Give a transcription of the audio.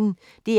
DR P1